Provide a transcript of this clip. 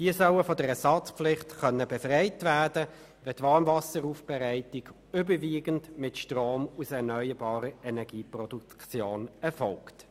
Sie sollen von der Ersatzpflicht befreit werden können, wenn die Warmwasseraufbereitung überwiegend mit Strom aus erneuerbarer Energieproduktion erfolgt.